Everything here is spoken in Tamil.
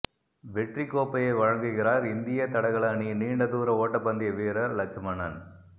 வெற்றிக் கோப்பையை வழங்குகிறாா் இந்திய தடகள அணியின் நீண்ட தூர ஓட்டப்பந்தய வீரா் லட்சமணன்